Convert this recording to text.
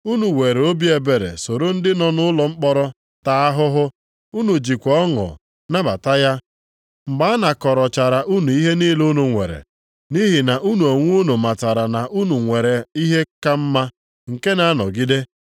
Unu were obi ebere soro ndị nọ nʼụlọ mkpọrọ taa ahụhụ, unu jikwa ọṅụ nabata ya mgbe a nakọrọchara unu ihe niile unu nwere, nʼihi na unu onwe unu matara na unu nwere ihe ka mma, nke na-anọgide.